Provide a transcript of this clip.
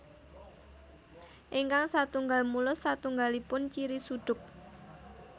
Ingkang satunggal mulus satunggalipun ciri suduk